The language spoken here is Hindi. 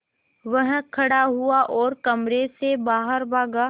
वह खड़ा हुआ और कमरे से बाहर भागा